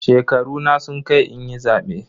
Shekaruna sun kai inyi zabe.